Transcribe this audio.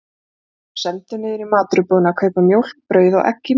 Hann var sendur niður í matvörubúðina að kaupa mjólk, brauð og egg í morgunmatinn.